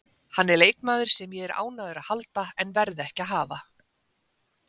Hann er leikmaður sem ég er ánægður að halda en verð ekki að hafa.